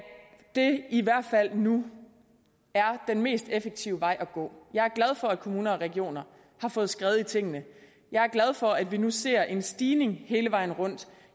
det i hvert fald nu er den mest effektive vej at gå jeg er glad for at kommuner og regioner har fået skred i tingene jeg er glad for at vi nu ser en stigning hele vejen rundt